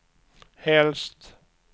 helst